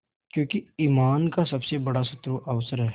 क्योंकि ईमान का सबसे बड़ा शत्रु अवसर है